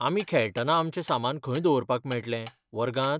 आमी खेळटना आमचें सामान खंय दवरपाक मेळटलें, वर्गांत?